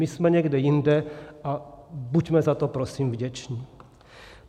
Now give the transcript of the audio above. My jsme někde jinde a buďme za to prosím vděční.